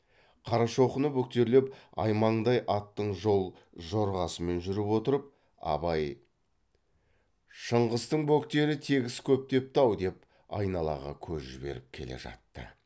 қарашоқыны бөктерлеп аймаңдай аттың жол жорғасымен жүріп отырып абай шыңғыстың бөктері тегіс көктепті ау деп айналаға көз жіберіп келе жатты